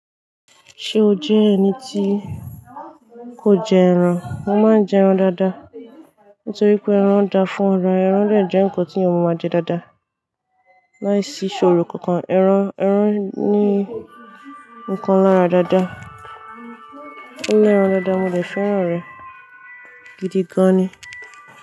Ṣé o jẹ́ ẹni tí kò jẹ ẹran? Mo máa ń jẹ ẹran dáadáa, nitori pé ẹran dáa fún ara, ẹran dẹ̀ jẹ́ nǹkan ti èèyàn máa jẹ dáadáa. Láìsí ṣòro kankan, ẹran, ẹran ní nǹkan lára dáadáa. Ọlẹran dáadáa, mo le fẹ́ràn rẹ̀ gidi gan ni.